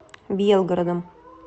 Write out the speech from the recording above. белгородом